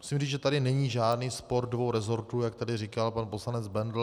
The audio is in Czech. Musím říci, že tady není žádný spor dvou resortů, jak tady říkal pan poslanec Bendl.